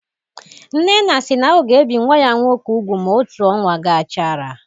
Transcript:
Nnenna si na ọ ga-ebi nwa ya nwoke úgwù ma otu ọnwa gachara